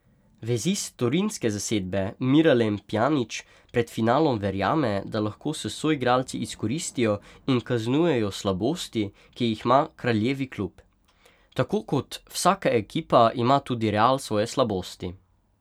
Vezist torinske zasedbe Miralem Pjanić pred finalom verjame, da lahko s soigralci izkoristijo in kaznujejo slabosti, ki jih ima kraljevi klub: 'Tako kot vsaka ekipa, ima tudi Real svoje slabosti.